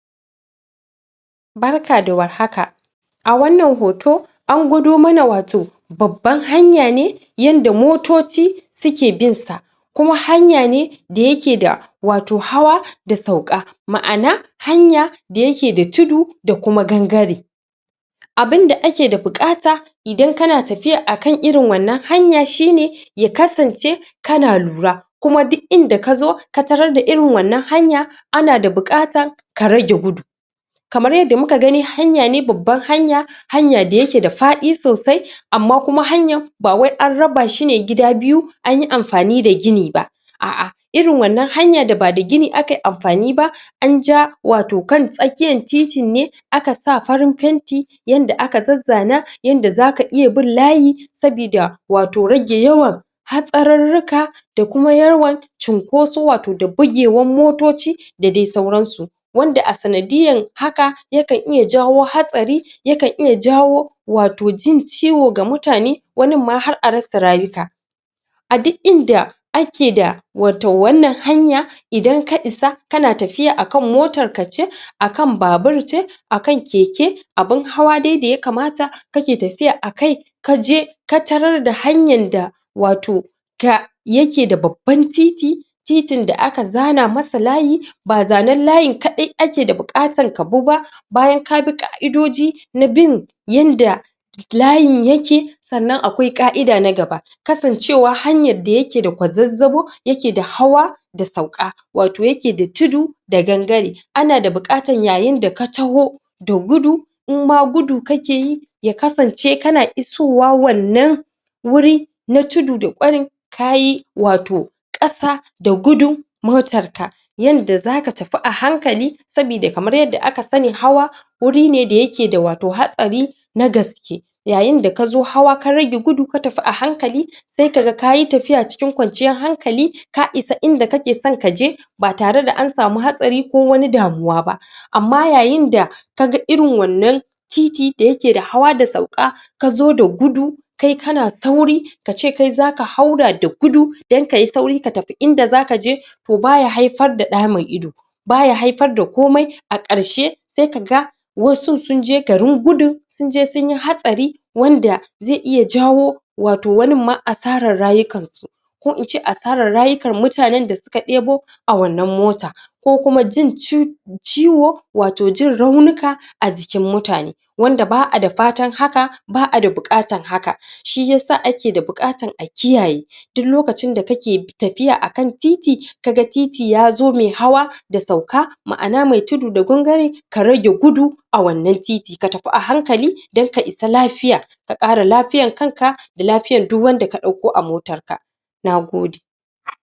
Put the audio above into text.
Barka da warhaka a wannan hoto an gudo mana wato baban hanya ne yanda motoci suke binsa kuma hanya ne da yake da wato hawa da sauka ma`ana hanya da yake da tudu da kuma gangare abin da ake da ake da bukata idan kana tafiya akan irin wanna hanya shine ya kasance kana lura. Kuma duk inda kazo ka tarrar da irin wannan hanya ana da bukata ka rage gudu kama yadda muka gani hanya ne babban hanya hanya da yake da fadi sosai amma kuma hanyan ba wai an raba shine gida biyu anyi anfani da gini ba aa irin wannan hanya da bada gini aka yi anfan ba anja wato kan tsakiyan titi ne aka sa farin painti yanda aka zazana, yanda zaka iya bin layi sabida wato rage yawan hatsararrika da kuma yawan cinkoso wato da bigewan motoci da dai sauransu. wanda a sanadiyan hakan yana iya jawo hatsari, ya kan iya jawo wato jin ciwo ga mutane wanin ma har a rasa rayuka a dik inda ake da wato wannan hanya idan ka isa kana tafiya akan motarka ce, aka babur ce akan keke abin hawa dai daya kamata kake tafiya akai kaje ka tarar da hanyan da wato ga... yake da babban titi titin da aka zana masa layi ba zanen layin kadai ake da bukatar kabi ba bayan kabi Ƙa'idoji na bin yanda layin yake sannan akwai Ƙa'ida na gaba kasancewa hanyar da yake da kwazzabo, yake da hawa da sauƘa wato yake da tudu da gangare anada buƘatar yayin daka tahu da gudu, inma gudu kakeyi ya kasance kana isowa wannan wuri na tudu da kwarin kayi wato Ƙasa da gudu, motarka yanda zaka tafi a hankali sabida kaman yanda aka sani hawa wuri ne da yake da wato hatsari na gaske, yayin da kazo haawa ka rage gudu ka tafi a hankali sai kaga kayi tafiya cikin kwanciyan hankali ka isa inda kake so kaje ba tare da an sami wani hatsari ko wata damuwa ba amma yayin da kaga irin wannan titi daya ke da hawa da sauka kazo da gudu kai kana sauri, kace kai zaka haura da gudu dan kayi sauri ka tafi inda zakaje to, baya haifar da da mai ido baya haifar da komai, a karshe sai kaga wasu sunje garin gudun sunje sunyi hatsari wanda zai iay ajawo wato wanin ma asaran rayukan su ko ince asaran rayukan mutanen da suka debo a wannan mota kukuma jin ciwo wato raunuka a jikin mutane wanda ba'a da fatan hakan ba'a da buƘatan hakan shiyasa ake da buƘatan a kiyaye dik lokacin da kake tafiya akana titi, kaa titi yazo mai hawa sa sauka, ma'ana mai tudu da gangare, ka rage gudu a wannan titi ka tafi a hankali dan ka isa lafiya ka Ƙare lafiiyan kanka da lafiyan duk wanda ka dauƘo a motan na gode